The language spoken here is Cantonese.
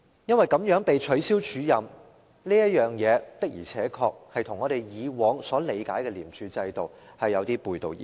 因為她這樣被取消署任，的而且確與我們以往所理解的廉署制度有點背道而馳。